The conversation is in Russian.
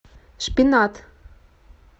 шпинат